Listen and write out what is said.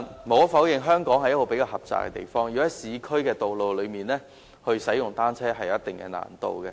無可否認，香港地方較為狹窄，在市區道路使用單車會有一定難度。